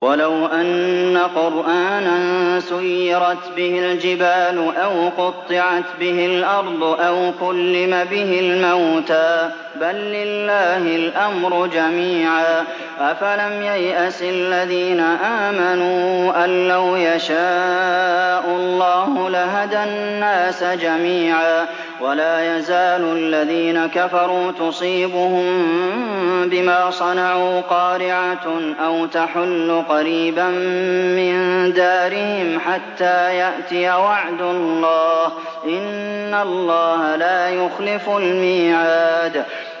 وَلَوْ أَنَّ قُرْآنًا سُيِّرَتْ بِهِ الْجِبَالُ أَوْ قُطِّعَتْ بِهِ الْأَرْضُ أَوْ كُلِّمَ بِهِ الْمَوْتَىٰ ۗ بَل لِّلَّهِ الْأَمْرُ جَمِيعًا ۗ أَفَلَمْ يَيْأَسِ الَّذِينَ آمَنُوا أَن لَّوْ يَشَاءُ اللَّهُ لَهَدَى النَّاسَ جَمِيعًا ۗ وَلَا يَزَالُ الَّذِينَ كَفَرُوا تُصِيبُهُم بِمَا صَنَعُوا قَارِعَةٌ أَوْ تَحُلُّ قَرِيبًا مِّن دَارِهِمْ حَتَّىٰ يَأْتِيَ وَعْدُ اللَّهِ ۚ إِنَّ اللَّهَ لَا يُخْلِفُ الْمِيعَادَ